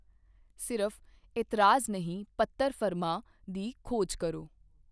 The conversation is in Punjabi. ਸਿਰਫ਼ 'ਇਤਰਾਜ਼ ਨਹੀਂ ਪੱਤਰ ਫਰਮਾ' ਦੀ ਖੋਜ ਕਰੋ।